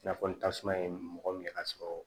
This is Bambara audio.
I n'a fɔ ni tasuma ye mɔgɔ min ye k'a sɔrɔ